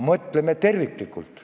Mõtleme terviklikult.